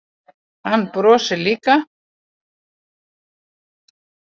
Hann brosir líka.